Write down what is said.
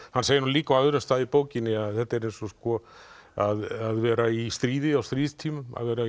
hann segir líka á öðrum stað í bókinni að þetta er eins og að vera í stríði á stríðstímum að vera